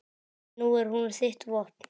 Nú er hún þitt vopn.